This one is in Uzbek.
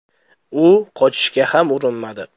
U qochishga ham urinmadi.